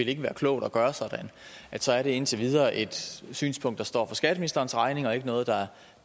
ikke være klogt at gøre så er det indtil videre et synspunkt der står for skatteministerens regning og ikke noget der